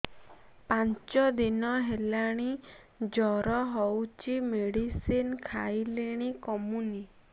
ପାଞ୍ଚ ଦିନ ହେଲାଣି ଜର ହଉଚି ମେଡିସିନ ଖାଇଲିଣି କମୁନି